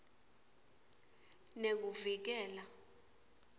nekuvikela